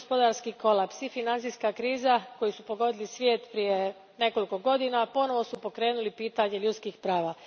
I gospodarski kolaps i financijska kriza koji su pogodili svijet prije nekoliko godina ponovo su pokrenuli pitanje ljudskih prava.